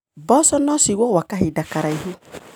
Mboco nociigũo gwa kahinda karaihu.